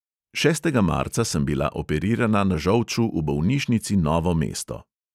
Šestega marca sem bila operirana na žolču v bolnišnici novo mesto.